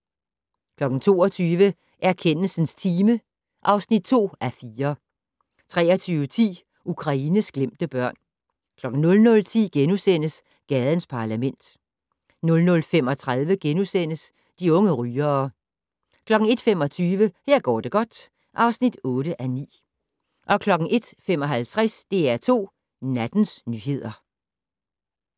22:00: Erkendelsens time (2:4) 23:10: Ukraines glemte børn 00:10: Gadens Parlament * 00:35: De unge rygere * 01:25: Her går det godt (8:9) 01:55: DR2 Nattens nyheder